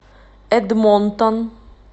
эдмонтон